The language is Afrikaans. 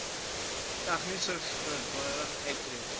tegniese vaardighede uittree